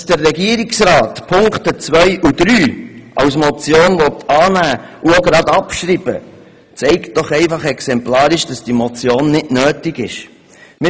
Dass der Regierungsrat die Punkte 2 und 3 als Motion annehmen und zugleich abschreiben will, zeigt doch exemplarisch, dass diese Motion nicht nötig ist.